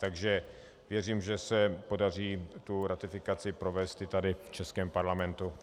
Takže věřím, že se podaří tu ratifikaci provést i tady v českém parlamentu.